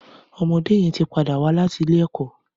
Ọmọdé yèn ti pâdá wà làtí ilé ẹkọ